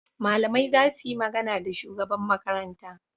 Malamai za su yi magana da shugaban Makaranta.